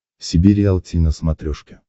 себе риалти на смотрешке